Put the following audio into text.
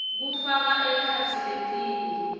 kufaka ekhatsi letinye